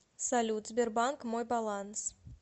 салют сбербанк мой баланс